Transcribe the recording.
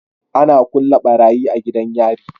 Ana kulle barayi a gidan yari